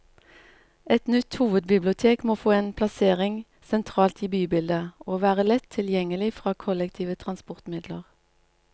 Et nytt hovedbibliotek må få en plassering sentralt i bybildet, og være lett tilgjengelig fra kollektive transportmidler.